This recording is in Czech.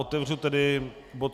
Otevřu tedy bod